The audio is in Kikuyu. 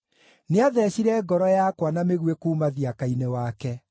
Nĩatheecire ngoro yakwa na mĩguĩ kuuma thiaka-inĩ wake.